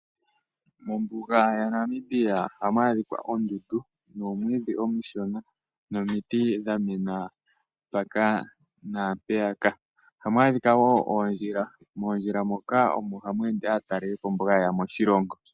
Mombuga yaNamibia oha mu adhika oondundu nomwiidhi omushona nomiti dha mena mpaka naampeyaka. Oha mu adhika woo oondjila. Moondjila moka omo ha mu ende aatalelipo mboka haye ya moshilongo.